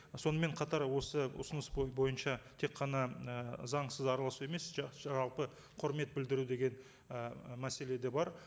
сонымен қатар осы ұсыныс бойынша тек қана і заңсыз араласу емес жалпы құрмет білдіру деген і мәселе де бар